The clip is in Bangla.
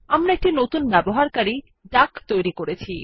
আমরা একটি নতুন ব্যবহারকারী ডাক তৈরী করেছি